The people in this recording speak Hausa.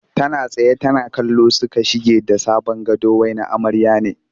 Tana tsaye tana kallo suka shige da sabon gado wai na amarya ne